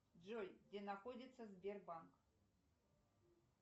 джой где находится сбербанк